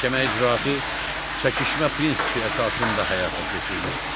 Məhkəmə icraatı çəkişmə prinsipi əsasında həyata keçirilir.